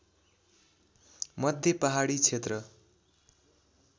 मध्ये पहाडी क्षेत्र